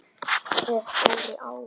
Ef Dóri á